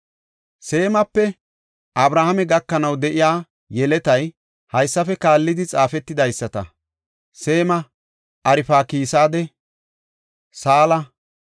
Seemape Abrahaame gakanaw de7iya yeletay haysafe kaallidi xaafetidaysata; Seema, Arfakisaade, Saala,